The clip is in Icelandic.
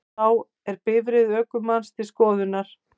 Þá er bifreið ökumanns til skoðunar